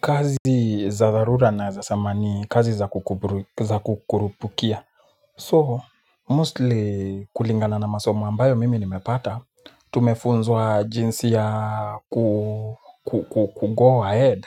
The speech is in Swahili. Kazi za dharura naeza sema ni kazi za kukurupukia. So, mostly kulingana na masomo ambayo mimi nimepata, tumefunzwa jinsi ya kugo ahead